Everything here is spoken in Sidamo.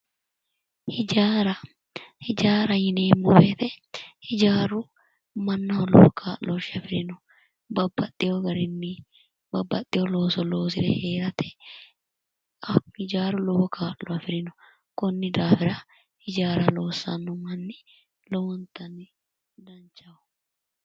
hijaara hijaara yineemmo woyite hijaaru mannaho lowo kaa'looshshe afirino babbaxxino garinni babbaxxino looso loosire heerate hijaaru lowo kaa'lo afirino konnidafira hijaara loossanno mannooti lowontanni danchaho.